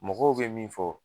Mɔgɔw be min fɔ